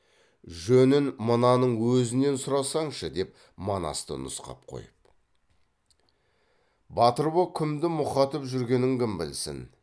жөнін мынаның өзінен сұрасаңшы деп манасты нұсқап қойып батыр боп кімді мұқатып жүргенін кім білсін